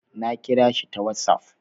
Na kira shi ta wassaf